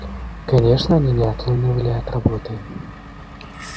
конечно они не отлынивали от работы